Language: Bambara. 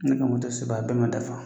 Ne ka moto sɛbɛn a bɛɛ ma dafa